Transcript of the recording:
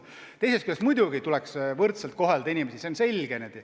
Teisest küljest muidugi tuleks inimesi võrdselt kohelda, see on selge.